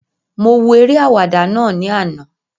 Mo wo eré àwàdà náà ní àná